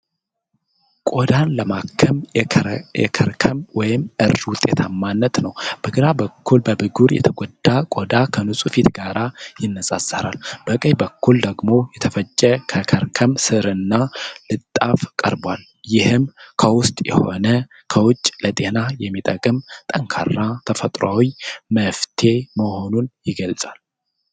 ቆዳን ለማከም የከርከም (እርድ) ውጤታማነት ነው። በግራ በኩል በብጉር የተጎዳ ቆዳ ከንጹህ ፊት ጋር ይነጻጸራል። በቀኝ በኩል ደግሞ የተፈጨ ከርከም ሥርና ለጥፍ ቀርበዋል። ይህም ከውስጥ ሆነ ከውጭ ለጤና የሚጠቅም ጠንካራ ተፈጥሯዊ መፍትሔ መሆኑን ይገልጻል።